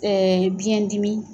Ɛɛ biyɛn dimi.